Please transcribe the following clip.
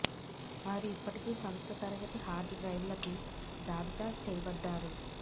వారు ఇప్పటికీ సంస్థ తరగతి హార్డ్ డ్రైవ్లకు జాబితా చేయబడ్డారు